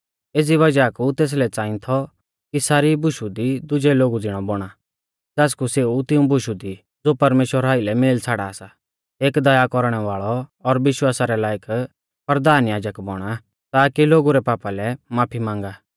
एज़ी वज़ाह कु तेसलै च़ांई थौ कि सारी बुशु दी दुजै लोगु ज़िणै बौणा ज़ासकु सेऊ तिऊं बुशु दी ज़ो परमेश्‍वरा आइलै मेल छ़ाड़ा सा एक दया कौरणै वाल़ौ और विश्वासा रै लायक परधान याजक बौणा ताकि लोगु रै पापा लै माफी मांगा